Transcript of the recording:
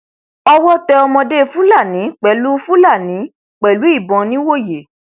owó tẹ ọmọdé fúlàní pẹlú fúlàní pẹlú ìbọn nìwòye